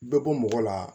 Bɛ bɔ mɔgɔ la